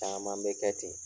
Taaman bɛ kɛ ten.